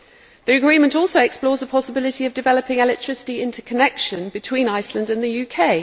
The agreement also explores the possibility of developing electricity interconnection between Iceland and the UK.